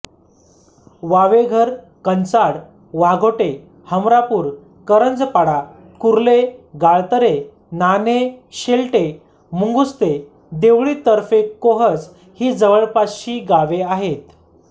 वावेघर कंचाड वाघोटे हमरापूर करंजपाडा कुर्ले गाळतरे नाणे शेलटे मुंगुस्ते देवळीतर्फेकोहज ही जवळपासची गावे आहेत